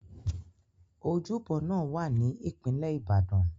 Ojúbọ náà wá ní ìpínlẹ̀ Ìbàdàn.